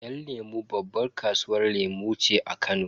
Yan lemu babban kasuwar lemu ce a Kano.